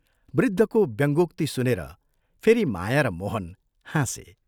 वृद्धको व्यंङ्गोक्ति सुनेर फेरि माया र मोहन हाँसे।